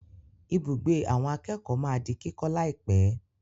Ibùgbé àwọn akẹ́kọ̀ọ́ máa di kíkọ́ láìpẹ̀.